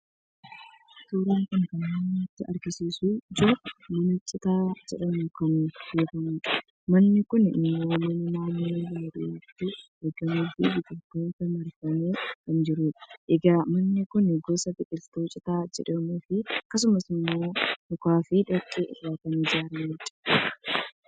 suuraan kun kan inni nutti agarsiisaa jiru mana citaa jedhamuun kan beekamu dha. manni kun immoo mana naannoo baadiyyaatti argamuufi biqiltootaan marfamee kan jirudha. egaa manni kun gosa biqiltuu citaa jedhamuufi akkasumas immoo mukaafi dhoqqee irraa kan ijaaramedha.